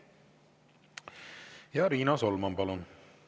Riina Solman, palun!